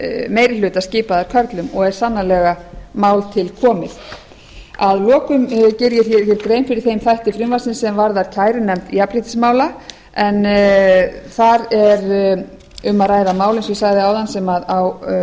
meiri hluta skipaðir körlum og er sannarlega mál til komið að lokum geri ég grein fyrir þeim þætti frumvarpsins sem varðar kærunefnd jafnréttismála en þar er um að að mál eins og ég sagði áðan sem